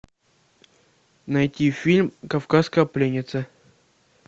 найти фильм кавказская пленница